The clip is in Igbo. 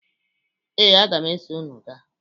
Ee, aga m eso unu ga.